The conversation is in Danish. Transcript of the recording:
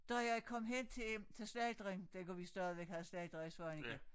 Da jeg kom hen til til slagteren dengang vi stadigvæk havde slagter i Svaneke